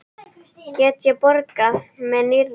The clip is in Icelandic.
Get ég borgað með nýra?